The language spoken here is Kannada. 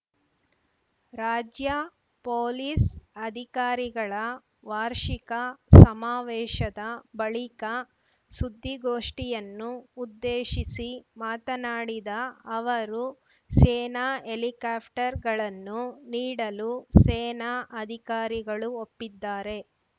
ರಾಜ್ಯ ಪೊಲೀಸ್‌ ಅಧಿಕಾರಿಗಳ ವಾರ್ಷಿಕ ಸಮಾವೇಶದ ಬಳಿಕ ಸುದ್ದಿಗೋಷ್ಠಿಯನ್ನು ಉದ್ದೇಶಿಸಿ ಮಾತನಾಡಿದ ಅವರು ಸೇನಾ ಹೆಲಿಕಾಪ್ಟರ್‌ಗಳನ್ನು ನೀಡಲು ಸೇನಾ ಅಧಿಕಾರಿಗಳು ಒಪ್ಪಿದ್ದಾರೆ